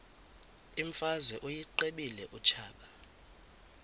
imfazwe uyiqibile utshaba